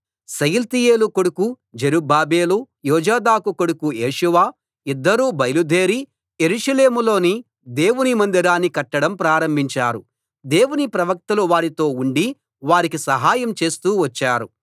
షయల్తీయేలు కొడుకు జెరుబ్బాబెలు యోజాదాకు కొడుకు యేషూవ ఇద్దరూ బయలుదేరి యెరూషలేములోని దేవుని మందిరాన్ని కట్టడం ప్రారంభించారు దేవుని ప్రవక్తలు వారితో ఉండి వారికి సహాయం చేస్తూ వచ్చారు